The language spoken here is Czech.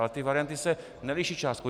Ale ty varianty se neliší částkou.